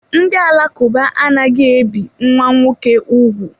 Ndị Alakụba anaghị ebi nwa nwoke ugwu.